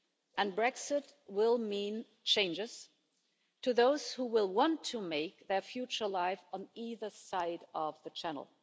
And Brexit will mean changes to those who will want to make their future life on either side of the Channel.